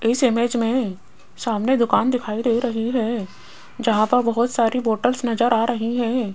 इस इमेज में सामने दुकान दिखाई दे रही है जहां पर बहुत सारी बॉटल्स नजर आ रही हैं।